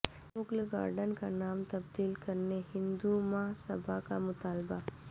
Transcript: Mughal garden کا نام تبدیل کرنے ہندو مہاسبھا کا مطالبہ